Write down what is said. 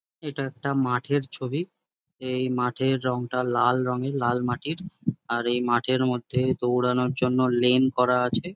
এটা একটা মাঠের ছবি এই মাঠের রংটা লাল রঙের লাল মাটির আর এই মাঠের মধ্যে দৌড়ানোর জন্য লেন করা আছে।